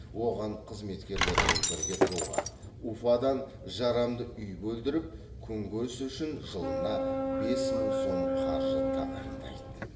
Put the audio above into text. оған қызметкерімен бірге тұруға уфадан жарамды үй бөлдіріп күнкөріс үшін жылына бес мың сом қаржы тағайындайды